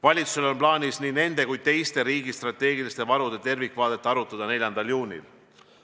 Valitsusel on plaanis nii nende kui ka teiste riigi strateegiliste varude tervikvaadet arutada 4. juunil.